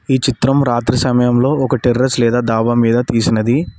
ఈ చిత్రం రాత్రి సమయంలో ఒకటి టెర్రర్స్ లేదా దాబా మీద తీసినది.